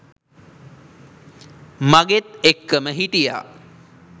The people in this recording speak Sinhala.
මගෙත් එක්කම හිටියා.